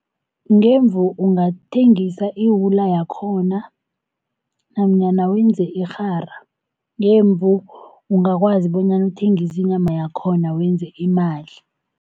Ngemvu ungathengisa iwula yakhona nanyana wenze irhara, ngemvu ungakwazi bonyana uthengise inyama yakhona wenze imali.